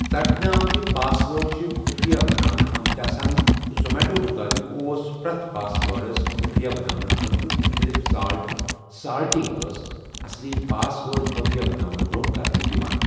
ژٹنہٕ آمٕتہِ password چھِ خُفیہ بناونہٕ آمٕتہِ آسان ، تہٕ زومیٚٹو مُطٲبِق اوس پرٛٮ۪تھ پاس وٲرڈس خٖفیہ بناونہٕ خٲطرٕ مُختٔلِف 'سالٹ'، سالٹِنٛگ ٲس اصلی پاس وٲرڈ خٖفیہ بناونہٕ برٛونٛہہ کرنہٕ یِوان ۔